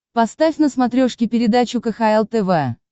поставь на смотрешке передачу кхл тв